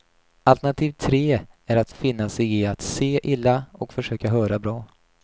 Alternativ tre är att finna sig i att se illa och försöka höra bra.